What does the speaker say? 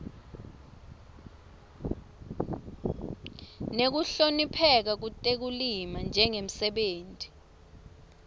nekuhlonipheka kutekulima njengemsebenti